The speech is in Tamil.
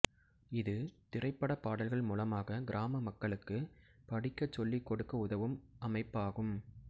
இது திரைப்படப் பாடல்கள் மூலமாக கிராம மக்களுக்கு படிக்கச் சொல்லிக்கொடுக்க உதவும் அமைப்பாகும்